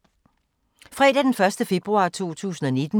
Fredag d. 1. februar 2019